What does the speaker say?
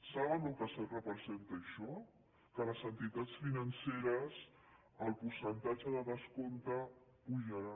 saben el que representa això que a les entitats financeres el percentatge de descompte pujarà